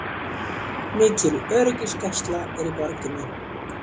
Mikil öryggisgæsla er í borginni